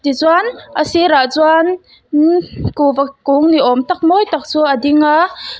tichuan a sirah chuan mmh kungva ni awm tak mawi tak chu a ding a.